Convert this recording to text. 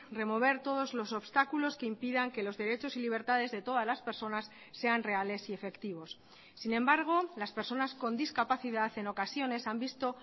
remover todos los obstáculos que impidan que los derechos y libertades de todas las personas sean reales y efectivos sin embargo las personas con discapacidad en ocasiones han visto